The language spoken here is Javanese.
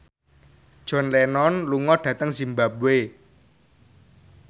John Lennon lunga dhateng zimbabwe